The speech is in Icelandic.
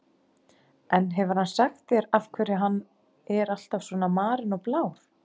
En hefur hann sagt þér af hverju hann er alltaf svona marinn og blár?